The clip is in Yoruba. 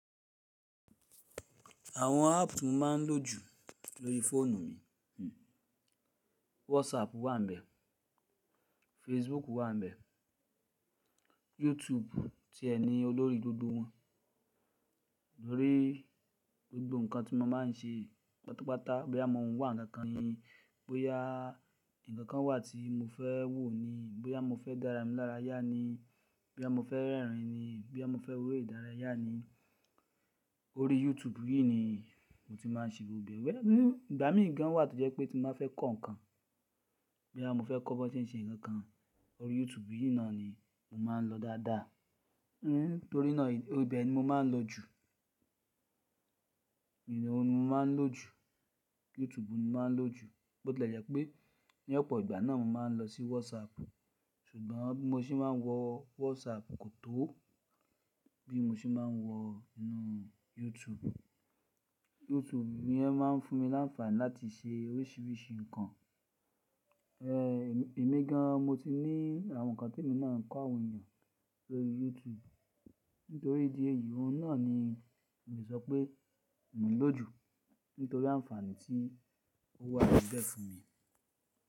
Àwọn app tí mo máa ń lò jù lórí fóònù mi, hmm WhatsApp wà níbẹ̀, Facebook wà níbẹ̀, YouTube tí ẹ ni olórí gbogbo wọn. Lórí gbogbo nǹkan tí mo máa ń ṣe pátápátá bí àmọ́ ohun wà níga kan ni, bóyá ǹkan kan wà tí mo fẹ́ wò ni, bóyá mo fẹ́ dára ní lára yá ni, bóyá mo fẹ́ rẹ́rìn-ín ni, bóyá mo fẹ́ wo èdárayá ni, orí YouTube yìí ni mo ti máa ń ṣe gbogbo ẹ̀. Ìgbà mìíràn wà tó jẹ́ pé tí mo bá fẹ́ kọ́ ǹkan, bí àmọ́ mo fẹ́ kọ́ ọba ṣe ń ṣe ǹkan kan orí YouTube yìí náà ni mo máa ń lọ dáadáa. Hmm torí náà ibẹ̀ ni mo máa ń lò jù. YouTube ni mo máa ń lò jù. Bó tí o jẹ́ pé ní ọ̀pọ̀ ìgbà náà mo máa ń lọ sí WhatsApp, ṣùgbọ́n bó ti mo ṣe máa ń wọ WhatsApp kò tó bí mo ṣe máa ń wọ inú YouTube. YouTube yẹn máa ń fún mi láǹfààní láti ṣe oríṣìíríṣìí nǹkan. Ẹ̀ mí gan an mo ti ní àwọn nǹkan tí èmi náà n kọ́ àwọn èèyàn lórí YouTube. Nítorí ìdí èyí, òun náà ni èmi sọ pé mo lò jù nítorí àǹfààní tí ó wà níbẹ̀ fún mi.